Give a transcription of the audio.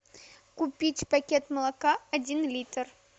купить пакет молока один литр